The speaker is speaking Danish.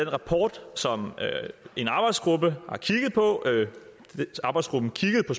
rapport som en arbejdsgruppe har kigget på arbejdsgruppen kiggede på